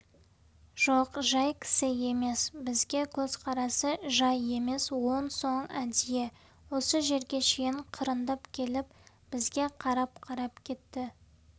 жоқ жай кісі емес бізге көзқарасы жай емес онсоң әдейі осы жерге шейін қырындап келіп бізге қарап-қарап кетті